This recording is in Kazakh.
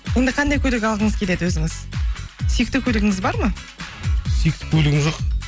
енді қандай көлік алғыңыз келеді өзіңіз сүйікті көлігіңіз бар ма сүйікті көлігім жоқ